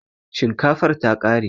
Shinkafar ta ƙare